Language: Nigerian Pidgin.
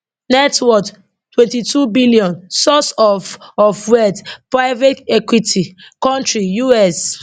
net worth 22 billion source of of wealth private equity kontri us